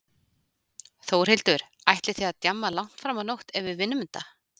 Þórhildur: Ætlið þið að djamma langt fram á nótt ef við vinnum þetta?